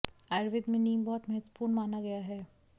आयुर्वेद में नीम बहुत महत्पूर्ण माना गया है